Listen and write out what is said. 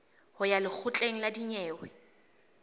ho ya lekgotleng la dinyewe